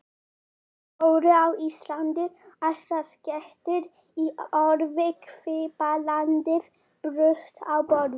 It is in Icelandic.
Jólin á Íslandi: Allsnægtir í orði, kvíðablandið bruðl á borði.